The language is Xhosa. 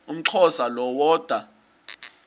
umxhosa lo woda